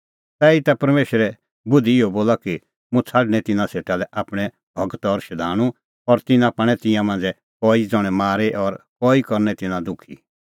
तैहीता परमेशरे बुधि इहअ बोला कि मुंह छ़ाडणैं तिन्नां सेटा लै आपणैं गूर और शधाणूं और तिन्नां पाणै तिन्नां मांझ़ै कई ज़ण्हैं मारी और कई करनै तिन्नां दुखी